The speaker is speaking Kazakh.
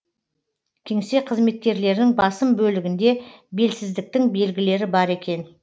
кеңсе қызметкерлерінің басым бөлігінде белсіздіктің белгілері бар екен